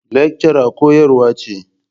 Lecture koyarwa ce.